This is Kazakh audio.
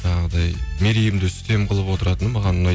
жаңағыдай мерейімді үстем қылып отыратыны маған ұнайды